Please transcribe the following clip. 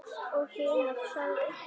Og hinir sögðu